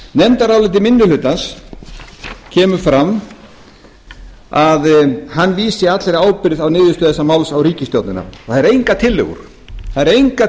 nefndaráliti minni hlutans kemur fram að hann vísi allri ábyrgð á niðurstöðu þessa máls á ríkisstjórnina og það eru engar